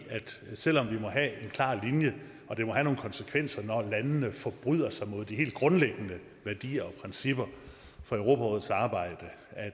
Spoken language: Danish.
at selv om vi må have en klar linje og det må have nogle konsekvenser når landene forbryder sig mod de helt grundlæggende værdier og principper for europarådets arbejde